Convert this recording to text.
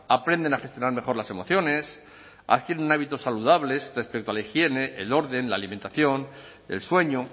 aprenden a gestionar mejor las emociones adquieren hábitos saludables respecto a la higiene el orden la alimentación el sueño